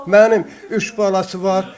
Mənim üç balası var.